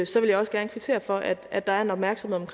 så vil jeg også gerne kvittere for at at der er en opmærksomhed